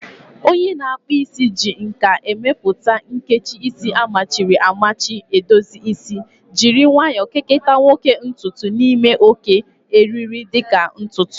Onye na-akpụ isi ji nka emepụta a nkecha isi amachiri amachi edozi isi, jiri nwayo kekota nwoke ntutu n'ime oké, eriri-dị ka ntutu